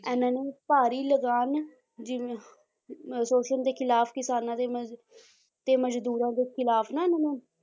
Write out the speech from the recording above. ਇਹਨਾਂ ਨੇ ਭਾਰੀ ਲਗਾਨ ਜਿਵੇਂ ਅਹ ਸ਼ੋਸ਼ਣ ਦੇ ਖਿਲਾਫ਼ ਕਿਸਾਨਾਂ ਦੇ ਮਜ਼~ ਤੇ ਮਜ਼ਦੂਰਾਂ ਦੇ ਖਿਲਾਫ਼ ਨਾ ਇਹਨਾਂ ਨੇ